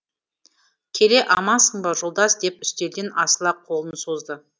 келе амансың ба жолдас деп үстелден асыла қолын созды